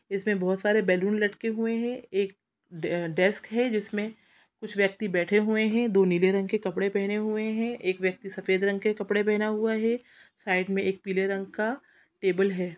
इसमें बोहोत सारे बैलून लटके हुए है एक डे_डेस्क है जिसमें कुछ व्यक्ति बैठे हुए है दो नीले रंग के कपड़े पहने हुए है एक व्यक्ति सफेद रंग कपड़े पहना हुआ है साइड में एक पीला रंग का टेबल है।